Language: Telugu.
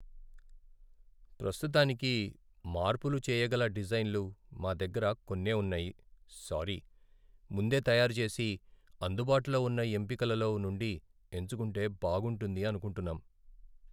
ప్రస్తుతానికి మార్పులు చేయగల డిజైన్లు మా దగ్గర కొన్నే ఉన్నాయి, సారీ. ముందే తయారు చేసి, అందుబాటులో ఉన్న ఎంపికలలో నుండి ఎంచుకుంటే బాగుంటుంది అనుకుంటున్నాం.